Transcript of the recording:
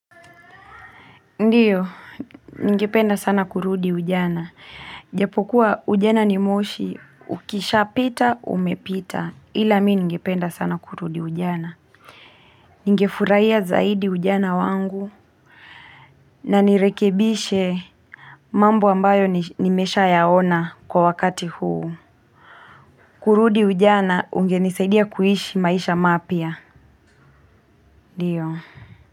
Ndiyo, ningependa sana kurudi ujana. Japokuwa ujana ni moshi, ukisha pita, umepita. Hila mi ningependa sana kurudi ujana. Ningefurahia zaidi ujana wangu. Na nirekebishe mambo ambayo nimeshayaona kwa wakati huu. Kurudi ujana, ungenisaidia kuishi maisha mapya. Ndiyo.